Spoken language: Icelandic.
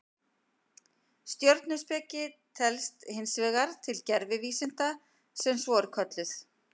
Stjörnuspeki telst hins vegar til gervivísinda sem svo eru kölluð.